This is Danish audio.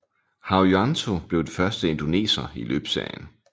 Haryanto blev den første indoneser i løbsserien